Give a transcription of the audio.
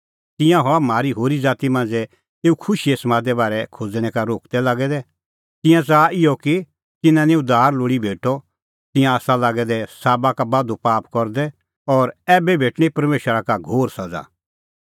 तिंयां हआ हाम्हां होरी ज़ाती मांझ़ै एऊ खुशीए समादे बारै खोज़णैं का रोकदै लागै दै तिंयां च़ाहा इहअ कि तिन्नां निं उद्धार लोल़ी भेटअ तिंयां आसा लागै दै साबा का बाधू पाप करदै और ऐबै भेटणीं परमेशरा का घोर सज़ा